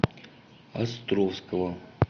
островского